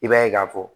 I b'a ye k'a fɔ